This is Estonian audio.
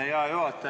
Hea juhataja!